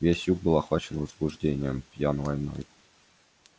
весь юг был охвачен возбуждением пьян войной